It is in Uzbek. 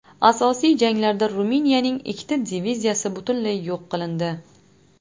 Asosiy janglarda Ruminiyaning ikkita diviziyasi butunlay yo‘q qilindi.